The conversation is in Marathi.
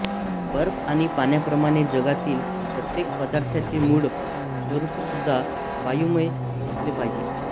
बर्फ आणि पाण्याप्रमाणे जगातील प्रत्येक पदार्थाचे मूळ स्वरूपसुद्धा वायुमय असले पाहिजे